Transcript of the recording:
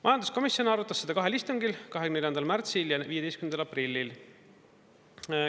Majanduskomisjon arutas seda kahel istungil: 24. märtsil ja 15. aprillil.